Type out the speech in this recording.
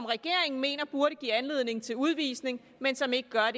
regeringen mener burde give anledning til udvisning men som ikke gør